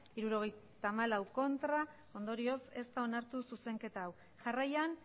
hirurogeita hamalau ez ondorioz ez da onartu zuzenketa hau jarraian